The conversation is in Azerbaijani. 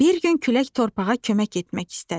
Bir gün külək torpağa kömək etmək istədi.